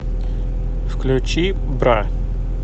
включи бра